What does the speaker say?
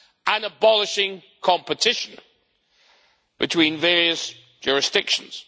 and abolishing competition between various jurisdictions.